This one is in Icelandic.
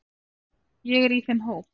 Ég er í þeim hóp.